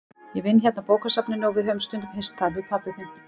Ég vinn hérna á bókasafninu og við höfum stundum hist þar, við pabbi þinn.